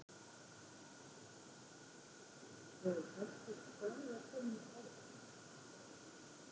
Gunnar Atli: Hefur þessi staða komið upp áður?